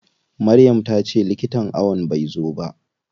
Maryam tace likitan ayon bai zai ba.